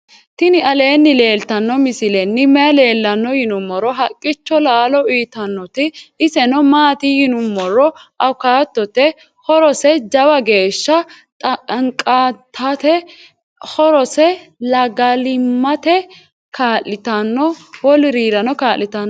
tini aleni leltano misileni maayi leelano yinnumoro. haqicho lalo uyitawote iseno maati yiinumoro awukatote .horrosejaawa gesha xanqatate. horosse lagalimate ka'litano wolurirano ka'litano